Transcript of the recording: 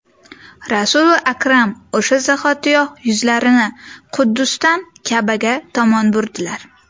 Rasuli akram o‘sha zahotiyoq yuzlarini Quddusdan Ka’baga tomon burdilar.